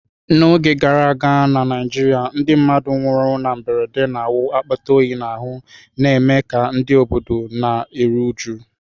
N’oge gara aga na Naijiria, ndị mmadụ nwụrụ na mberede na-awụ akpata oyi n’ahụ́, na-eme ka ndị obodo na-eru uju.